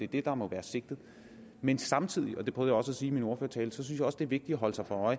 det der må være sigtet men samtidig og det prøvede jeg også at sige i min ordførertale synes jeg også det er vigtigt at holde sig for